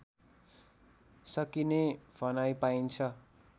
सकिने भनाइ पाइन्छ